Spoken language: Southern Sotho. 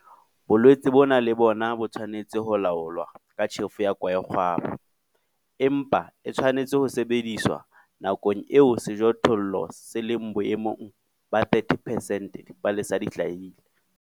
Bolwetse bona le bona bo tshwanetse ho laolwa ka tjhefo ya kwaekgwaba, empa e tshwanetse ho sebediswa nakong eo sejothollo se leng boemong ba 30 percent dipalesa di hlahile.